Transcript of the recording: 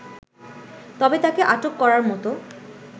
তবে তাকে আটক করার মত